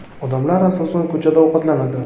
Odamlar, asosan, ko‘chada ovqatlanadi.